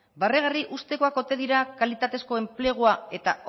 barregarri uztekoak ote dira kalitatezko enplegua eta